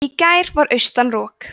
í gær var austan rok